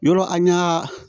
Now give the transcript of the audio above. Yɔrɔ an y'a